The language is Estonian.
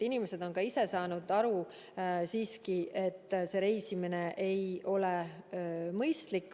Inimesed on ka ise aru saanud, et reisimine ei ole mõistlik.